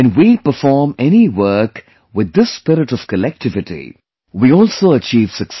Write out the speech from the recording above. When we perform any work with this spirit of collectivity, we also achieve success